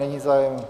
Není zájem.